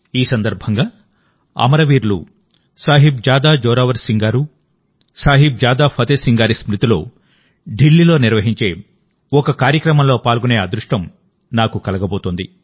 ఈ సందర్భంగా అమరవీరులు సాహిబ్ జాదా జోరావర్ సింగ్ జీ సాహిబ్ జాదా ఫతే సింగ్ జీ స్మృతిలో ఢిల్లీలో నిర్వహించే ఒక కార్యక్రమంలో పాల్గొనే అదృష్టం నాకు కలిగింది